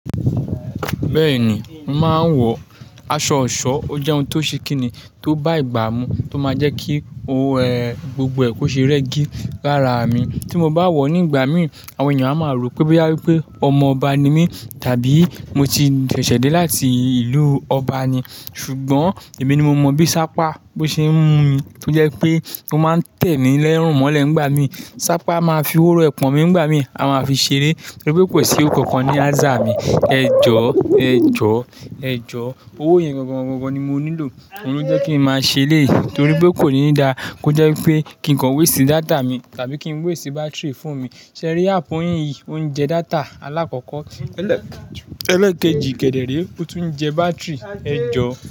Bẹ́ẹ̀ni, mo máa ń wọ aṣọ ọ̀ṣọ́, ó jẹ́ ohun tó ṣe kini tó bá ìgbà mu tó máa jẹ́ kí o ẹ́ gbogbo ẹkù ṣe rẹ́gí lára mi. Tí mo bá wọ̀ ọ́ nígbà mí, àwọn ènìyàn a máa rò pé bí a wípé ọmọ ọba ni mí tàbí mo ti ṣẹ̀ṣẹ̀ dé láti ìlú ọba ni. Ṣùgbọ́n èmi ni mo mọ̀ bí sapa bo ṣe ń mú mi, tó jẹ́ pé ó máa ń tẹ́mi lẹ́rùn mọ́lẹ̀ nígbà mí. Sapa máa fi hohoro ẹpọ̀n mí nígbà mí, a máa fi ṣeré torí pé kò sí ọ̀kankan ní azá mi. Ẹ̀jọ̀, ẹ̀jọ̀, ẹ̀jọ̀. Owó yẹn gangangan ni mo nílò, òun ló jẹ́ kí n máa ṣèléyi torí pé kò ní dáa kó jẹ́ pé kí nǹkan wé sí data mi tàbí kí n wé sí bátìrì fon mi. Ṣẹ̀rí áàpù yin yìí, ó ń jẹ data aláàkọ́kọ́ ẹlẹ́ẹ̀kejì, kẹ́dẹ̀-ré, ó tún ń jẹ bátìrì. Ẹ̀jọ̀